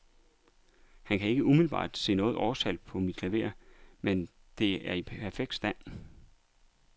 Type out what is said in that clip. Han kan ikke umiddelbart se noget årstal på mit klaver, men der er i perfekt stand.